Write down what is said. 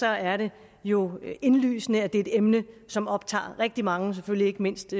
er det jo indlysende at det er et emne som optager rigtig mange og selvfølgelig ikke mindst